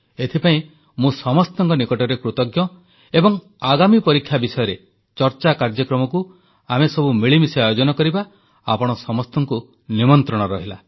ଏଥିପାଇଁ ମୁଁ ସମସ୍ତଙ୍କ ନିକଟରେ କୃତଜ୍ଞ ଏବଂ ଆଗାମୀ ପରୀକ୍ଷା ବିଷୟରେ ଚର୍ଚ୍ଚା କାର୍ଯ୍ୟକ୍ରମକୁ ଆମେସବୁ ମିଳିମିଶି ଆୟୋଜନ କରିବା ଆପଣ ସମସ୍ତଙ୍କୁ ନିମନ୍ତ୍ରଣ ରହିଲା